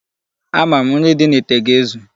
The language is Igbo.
Ama m, nri dị n'ite ga-ezu.